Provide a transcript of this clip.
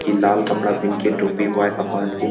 ये लाल कपड़ा पहन के टोपी वेगा पहन के--